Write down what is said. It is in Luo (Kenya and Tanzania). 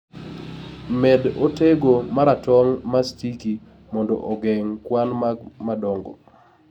med otego maratong ma sticky mondo ogeng' kwan mag madongo